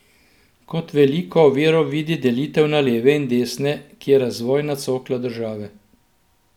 Kot veliko oviro vidi delitev na leve in desne, ki je razvojna cokla države.